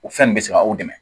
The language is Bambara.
O fɛn nin bɛ se ka aw dɛmɛ